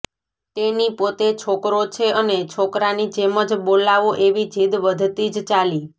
તેની પોતે છોકરો છે અને છોકરાની જેમ જ બોલાવો એવી જીદ વધતી જ ચાલી